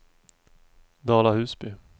Dala-Husby